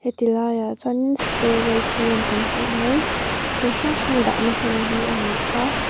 he ti laiah chuan in storage room kan ti mai thil hrang hrang dahna hmun hi a ni a.